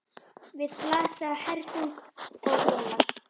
Við blasa hergögn og vélar.